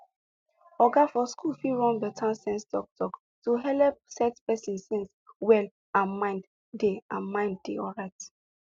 oga for school fit run better sense talktalk to helep set person sense well and mind dey and mind dey alright